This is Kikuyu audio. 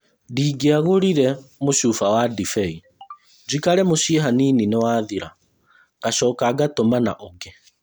Ndingĩagũrire mũcuba wa ndibei, njikare mũciĩ hanini nĩwathira- ngacoka ngatũmana ũngĩ